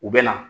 U bɛ na